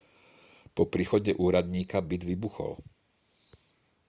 po príchode úradníka byt vybuchol